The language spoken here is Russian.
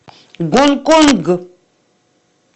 гонконг